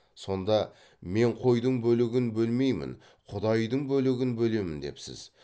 сонда мен қойдың бөлігін бөлмеймін құдайдың бөлігін бөлемін депсіз